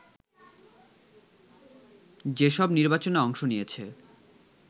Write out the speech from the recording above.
যেসব নির্বাচনে অংশ নিয়েছে